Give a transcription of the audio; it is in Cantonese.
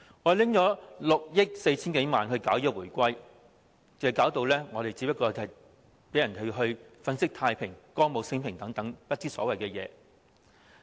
我們花費6億 4,000 多萬元舉辦慶回歸活動，令人感覺只是粉飾太平、歌舞昇平、不知所謂。